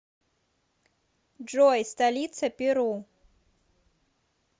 джой столица перу